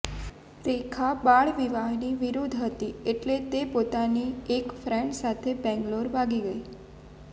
રેખા બાળવિવાહની વિરુદ્ધ હતી એટલે પોતાની એક ફ્રેન્ડ સાથે બેંગલુરુ ભાગી ગઈ